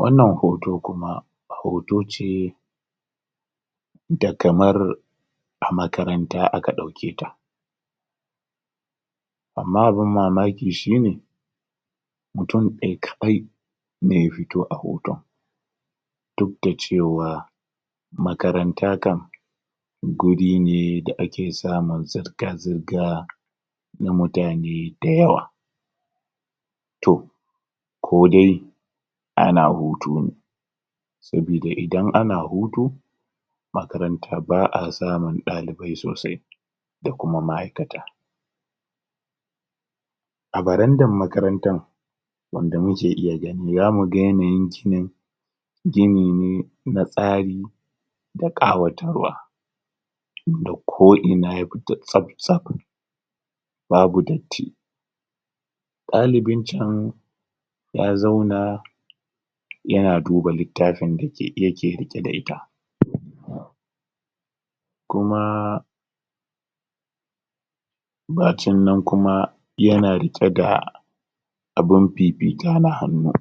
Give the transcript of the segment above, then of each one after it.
wannan hoto kuma hoto ce da kamar a makaranta aka ɗauketa amma abun mamaki shine mutum ɗaya kadai ne ya fito a hoton duk da cewa makaranta kan guri ne da ake samun zirga zirga na mutane da yawa to kodai ana hutu ne sabida idan ana hutu makaranta ba'a samun ɗalibai sosai da kuma ma'aikata a barandar makarantar wanda muke iya gani zamu ga yanayin ginin gini ne na tsari da ƙawatarwa inda ko ina ya fita tsaf tsaf babu datti ɗalibin can ya zauna yana duba littafin da yake um riƙe da ita kuma bacin nan kuma yana riƙe da abun fifita na hannu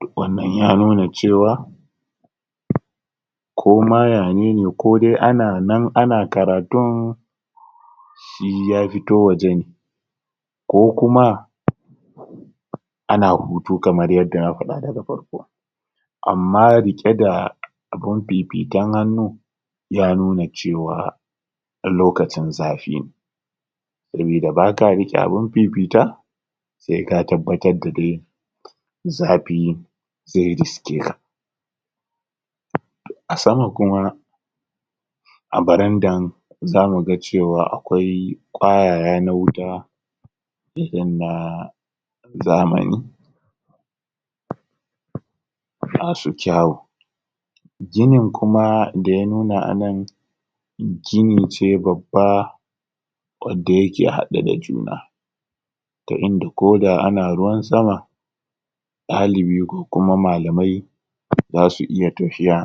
to wannan ya nuna cewa koma ya nene koma ana nan ana karatun shi ya fito waje ne ko kuma ana hutu kamar yadda na faɗa da farko amma riɗe da abin fifitan hannu iya nuna cewa lokacin zafi ne sabida baka riɗe abin fifita se ka tabbatar da dai zafi ze riske ka to a sama kuma a barandan zamuga cewa akwai ƙayaya na wuta irin na zamani masu kyawu ginin kuma daya nuna anan gini ce babba wadda yake haɗe da juna ginin da ko da ana ruwan sama ɗalibi ko kuma malamai zasu iya tafiya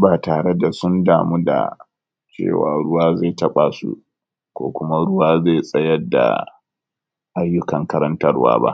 ba tare da sun damu da cewa ruwa ze taɓa su ko kuma ruwa ze tsayar da ayyukan karantarwa ba